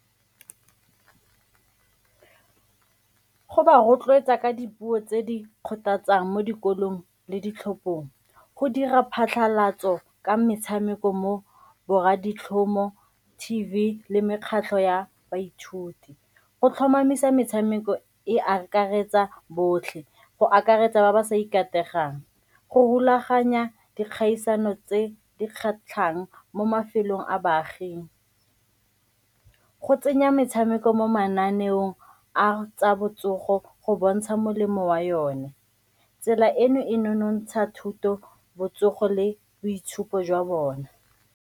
Go ba rotloetsa ka dipuo tse di kgothatsang mo dikolong le ditlhophong, go dira phatlhalatso ka metshameko mo borra ditlhomo, T_V le mekgatlho ya baithuti. Go tlhomamisa metshameko e akaretsa botlhe go akaretsa ba ba sa go rulaganya dikgaisano tse di kgatlhang mo mafelong a baaging, go tsenya metshameko mo mananeong a tsa botsogo go bontsha molemo wa yone. Tsela eno e nonontsha thuto, botsogo le boitshupo jwa bona.